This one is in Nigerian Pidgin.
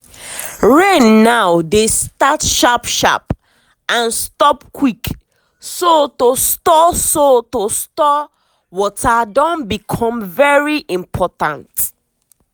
rain now dey start sharp sharp and stop quick so to store so to store water don become very important.